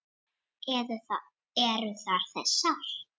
Eru það þessar?